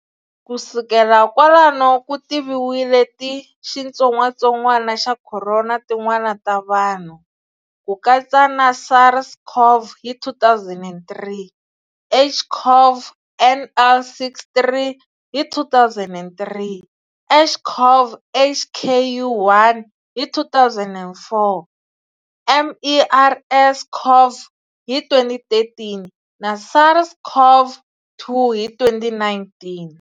Kusukela kwalano ku tiviwile ti xitsongatsongwana xa khorona tin'wana ta vanhu, ku katsa na SARS-CoV hi 2003, HCoV NL63 hi 2003, HCoV HKU1 hi 2004, MERS-CoV hi 2013, na SARS-CoV-2 hi 2019.